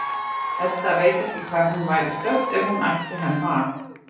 Edda veit ekki hvar hún væri stödd ef hún ætti ekki Hemma að.